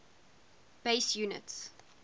base units